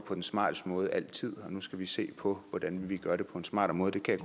på den smarteste måde altid og nu skal se på hvordan vi gør det på en smartere måde det kan